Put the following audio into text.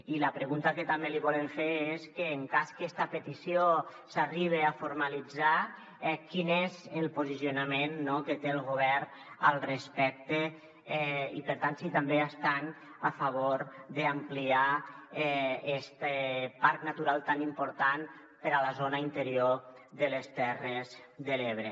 i la pregunta que també li volem fer és que en cas que esta petició s’arribe a formalitzar quin és el posicionament que té el govern al respecte i per tant si també estan a favor d’ampliar este parc natural tan important per a la zona interior de les terres de l’ebre